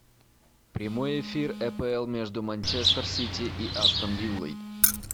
прямой эфир апл между манчестер сити и астон виллой